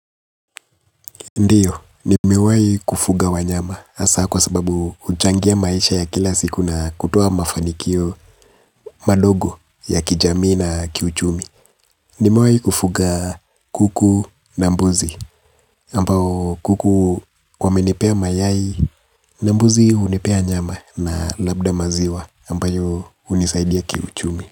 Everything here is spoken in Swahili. Ndiyo, nimewayi kufuga wanyama hasa kwa sababu huchangia maisha ya kila siku na kutoa mafanikio madogo ya kijamii na kiuchumi. Nimewayi kufuga kuku na mbuzi, ambao kuku wamenipea mayai, na mbuzi hunipea nyama na labda maziwa ambayo hunisaidia kiuchumi.